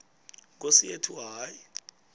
nkosi yethu hayi